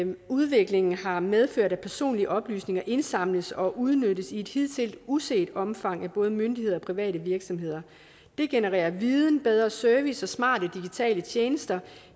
udviklingen har medført at personlige oplysninger indsamles og udnyttes i et hidtil uset omfang af både myndigheder og private virksomheder det genererer viden bedre service og smarte digitale tjenester